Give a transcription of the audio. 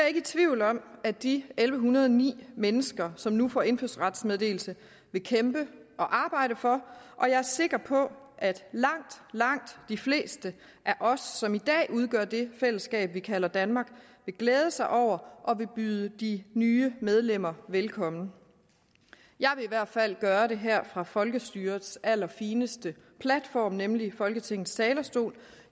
ikke i tvivl om at de elleve hundrede og ni mennesker som nu får indfødsrets meddelelse vil kæmpe og arbejde for og jeg er sikker på at langt langt de fleste af os som i dag udgør det fællesskab vi kalder danmark vil glæde sig over at byde de nye medlemmer velkommen jeg vil i hvert fald gøre det her fra folkestyrets allerfineste platform nemlig folketingets talerstol